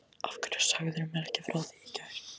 Af hverju sagðirðu mér ekki frá því í gær?